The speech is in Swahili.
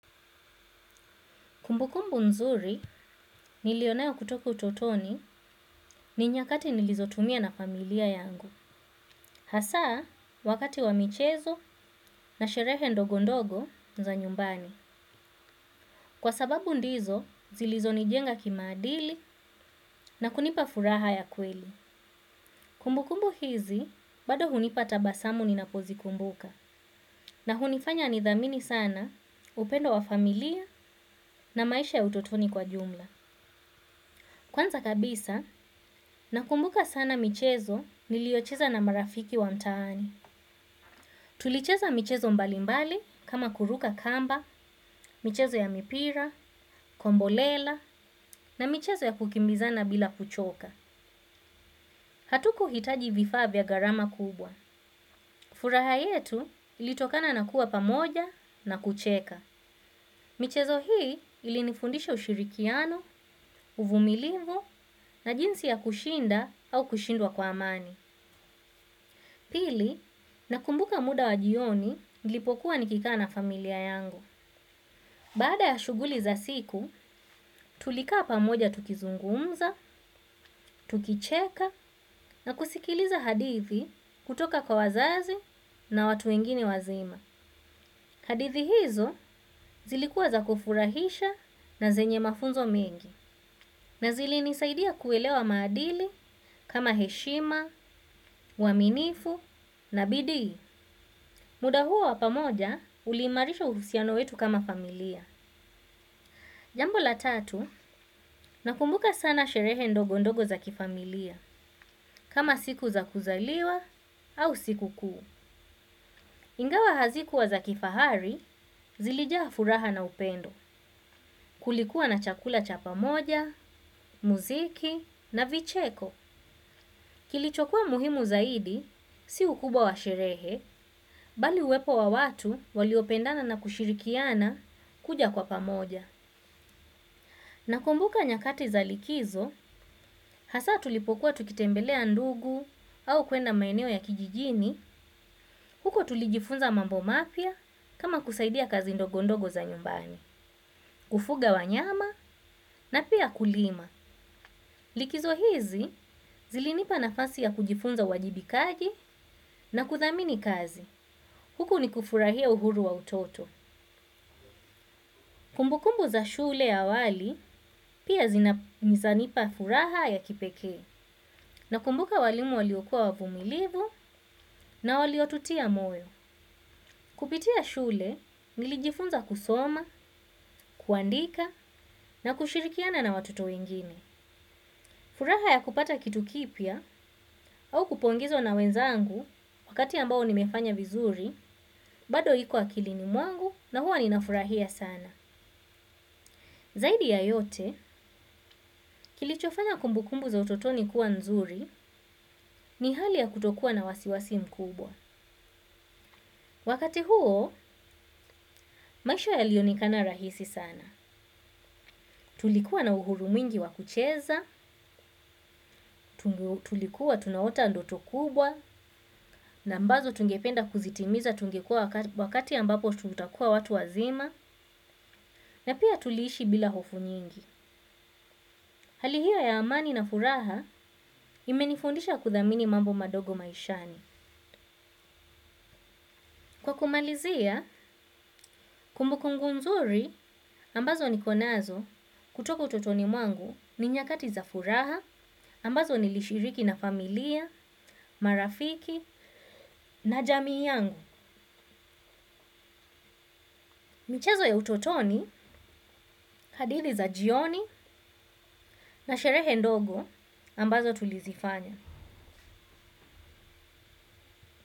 Kumbukumbu nzuri nilio nayo kutoka utotoni ni nyakati nilizotumia na familia yangu. Hasa wakati wa michezo na sherehe ndogo ndogo za nyumbani kwa sababu ndizo, zilizo nijenga kimaadili na kunipa furaha ya kweli. Kumbukumbu hizi, bado unipa tabasamu ninapo zikumbuka. Na hunifanya nithamini sana upendo wa familia na maisha ya utotoni kwa jumla. Kwanza kabisa nakumbuka sana michezo niliocheza na marafiki wa mtaani. Tulicheza michezo mbalimbali kama kuruka kamba, michezo ya mipira, kombolela na michezo ya kukimbizana bila kuchoka. Hatukuitaji vifaa vya garama kubwa. Furaha yetu ilitokana na kuwa pamoja na kucheka. Michezo hii ilinifundisha ushirikiano, uvumilivu na jinsi ya kushinda au kushindwa kwa amani. Pili, nakumbuka muda wa jioni nilipokuwa nikikaa na familia yangu. Baada ya shuguli za siku, tulikaa pamoja tukizungumza, tukicheka na kusikiliza hadithi kutoka kwa wazazi na watu wengine wazima. Hadithi hizo zilikuwa za kufurahisha na zenye mafunzo mengi na zilinisaidia kuelewa maadili kama heshima, uaminifu na bidii. Muda huo wa pamoja uliimarisha uhusiano wetu kama familia. Jambo la tatu, nakumbuka sana sherehe ndogo ndogo za kifamilia kama siku za kuzaliwa au sikukuu. Ingawa hazikuwa za kifahari, zilijaa furaha na upendo, kulikuwa na chakula cha pamoja, muziki na vicheko. Kilichokuwa muhimu zaidi si ukubwa wa sherehe bali uwepo wa watu waliopendana na kushirikiana kuja kwa pamoja. Nakumbuka nyakati za likizo, hasa tulipokuwa tukitembelea ndugu au kwenda maeneo ya kijijini, huko tulijifunza mambo mapya kama kusaidia kazi ndogondogo za nyumbani. Kufuga wanyama na pia kulima likizo hizi zilinipa nafasi ya kujifunza uwajibikaji na kuthamini kazi huku nikufurahia uhuru wa utoto. Kumbukumbu za shule awali pia zina mizanipa furaha ya kipekee. Nakumbuka walimu waliokua wavumilivu na waliotutia moyo. Kupitia shule nilijifunza kusoma, kuandika na kushirikiana na watoto wengine. Furaha ya kupata kitu kipya au kupongezwa na wenzangu wakati ambao nimefanya vizuri, bado ikuwa akilini mwangu na huwa ninafurahia sana. Zaidi ya yote, kilichofanya kumbukumbu za utotoni kuwa nzuri ni hali ya kutokua na wasiwasi mkubwa. Wakati huo, maisha yalionekana rahisi sana. Tulikuwa na uhuru mwingi wa kucheza, tulikuwa tunaota ndoto kubwa, na ambazo tungependa kuzitimiza tungekua wakati ambapo tutakua watu wazima, na pia tuliishi bila hofu nyingi. Hali hio ya amani na furaha imenifundisha kuthamini mambo madogo maishani. Kwa kumalizia, kumbu kungu nzuri ambazo nikonazo kutoko utotoni mwangu ni nyakati za furaha ambazo nilishiriki na familia, marafiki na jamii yangu. Michezo ya utotoni, hadithi za jioni na sherehe ndogo ambazo tulizifanya.